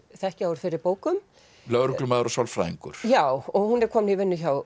þekkja úr fyrri bókum lögreglumaður og sálfræðingur já og hún er komin í vinnu hjá